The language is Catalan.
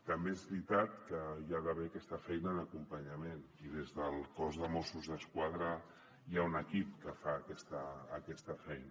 també és veritat que hi ha d’haver aquesta feina d’acompanyament i des del cos de mossos d’esquadra hi ha un equip que fa aquesta feina